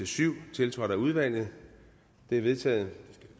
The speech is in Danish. syv tiltrådt af udvalget de er vedtaget